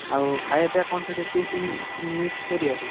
ଆଉ ଖାଇଆ ପିଆ କଣ ସେଠି feast meast meast କରିଆକି?